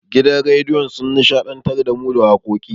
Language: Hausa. Gidan rediyon sun nishaɗantar da mu da wakoki.